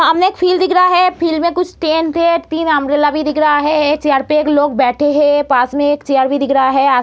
सामने एक फील्ड दिख रहा है फील्ड में कुछ टेंट है तीन अम्ब्रेला भी दिख रहा हैं चेयर पे एक लोग बैठे है पास में एक चेयर भी दिख रहा है आ --